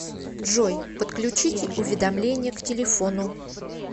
джой подключите уведомления к телефону